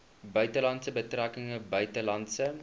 buitelandse betrekkinge buitelandse